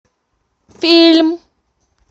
фильм